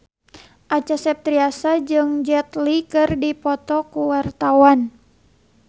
Acha Septriasa jeung Jet Li keur dipoto ku wartawan